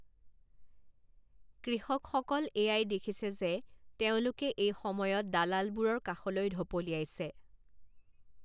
কৃষকসকল এয়াই দেখিছে যে তেওঁলোকে এই সময়ত দালালবোৰৰ কাষলৈ ঢপলিয়াইছে।